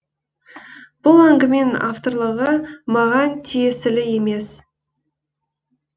бұл әңгіменің авторлығы маған тиесілі емес